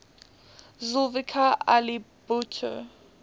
zulfikar ali bhutto